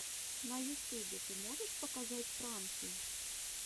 на ютюбе ты можешь показать пранки